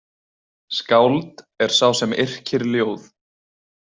Skáld er sá sem yrkir ljóð.